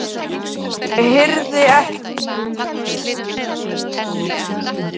Ég hirði ekki um þennan nýja skilning á lífinu.